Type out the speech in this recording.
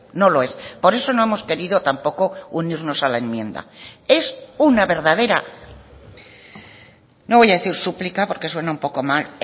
no lo es por eso no hemos querido tampoco unirnos a la enmienda es una verdadera no voy a decir súplica porque suena un poco mal